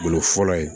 Bolo fɔlɔ ye